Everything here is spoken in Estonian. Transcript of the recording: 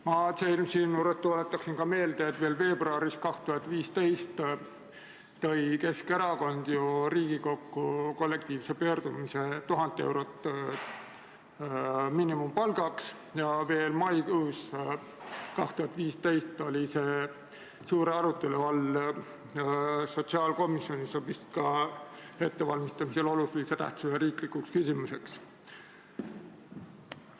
Ma tuletaksin siinjuures meelde, et veebruaris 2015 tõi Keskerakond ju Riigikokku kollektiivse pöördumise 1000 eurot miinimumpalgaks ja veel maikuus 2015 oli see suure arutelu all sotsiaalkomisjonis, see oli vist ka ettevalmistamisel olulise tähtsusega riiklikuks küsimuseks.